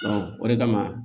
o de kama